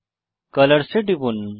Colors এ টিপুন